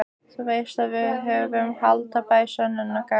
Þú veist að við höfum haldbær sönnunargögn.